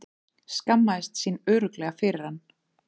Skammaðist sín örugglega fyrir hann.